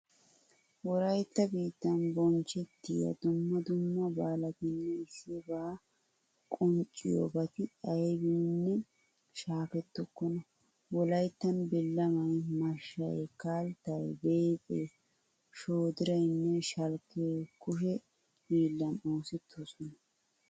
Wolaytta biittan bonchchettiya dumma dumma baalatinne issibaa qanxxiyobati aybiininne shaakettokkona. Wolayttan billamay, mashshay, kalttay, beexee, shoodiraynne shalkkee kushe hiillan oosettoosona.